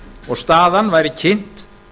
og staðan væri kynnt